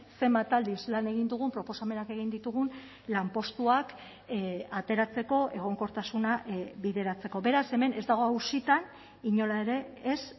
zenbat aldiz lan egin dugun proposamenak egin ditugun lanpostuak ateratzeko egonkortasuna bideratzeko beraz hemen ez dago auzitan inola ere ez